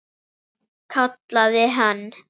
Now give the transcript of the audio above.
Kallaði hann.